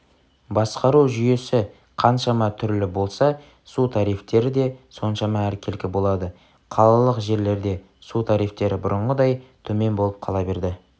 басқару жүйесі қаншама түрлі болса су тарифтері де соншама әркелкі болады қалалық жерлерде су тарифтері бұрынғыдай төмен болып қала берді